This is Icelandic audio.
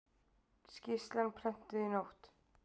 Skýrslan prentuð í nótt